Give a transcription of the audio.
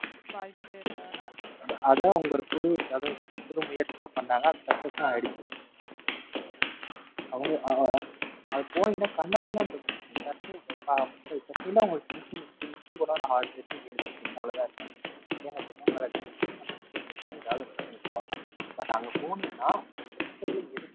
அவங்க ஆ ஆ அங்க போனிங்கனா கண்ணா பிண்ணாயிருக்கும். அந்த சட்னி தான். ஆறு சட்னி ஏழு சட்னி இருக்கும். அவ்வளவு தான் இருக்கும். தேங்காய் சட்னி, மிளகாய் சட்னி தான் இருக்கும் But அங்க போனிங்கனா அங்கஇருக்கிறதில எது